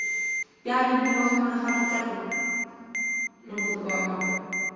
я ебу вас анахату чакру у меня был такой аккаунт